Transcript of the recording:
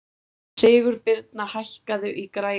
Sigurbirna, hækkaðu í græjunum.